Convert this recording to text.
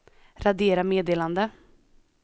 radera meddelande